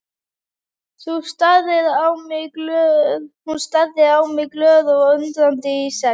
Hún starði á mig glöð og undrandi í senn.